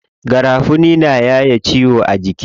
Garafuni na yaye ciwo a jiki.